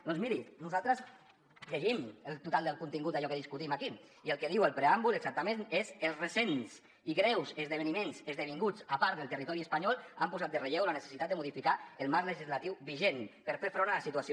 doncs miri nosaltres llegim el total del contingut d’allò que discutim aquí i el que diu el preàmbul exactament és els recents i greus esdeveniments esdevinguts a part del territori espanyol han posat en relleu la necessitat de modificar el marc legislatiu vigent per fer front a la situació